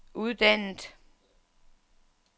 uddannet